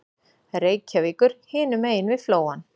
Reykjavíkur hinum megin við Flóann.